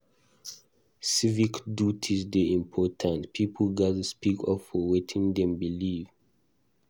Civic duties dey important; pipo gatz speak up for wetin dem believe.